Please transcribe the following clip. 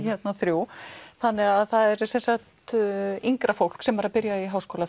þrjú þannig það er yngra fólk sem er að byrja í háskóla